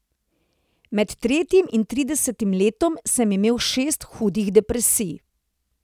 Med tretjim in tridesetim letom sem imel šest hudih depresij.